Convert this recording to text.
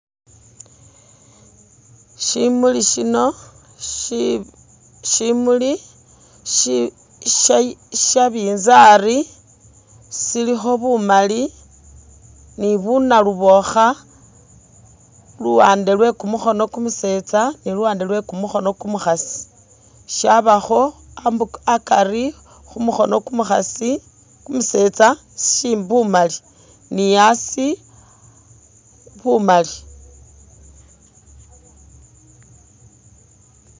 Shimuli shino, shimuli sha nabinzali silikho bumali ni bu nalubokha luwande lwe kumukhono kumusetsa ni luwande lwe kumukhono kumukhasi shabakho akari khumukhono kumukhasi kumusetsa shi bumali ni asi bumali.